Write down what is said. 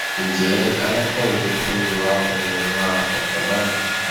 njẹ alákọwé ò ní wá ọnà ra ọkan báyìí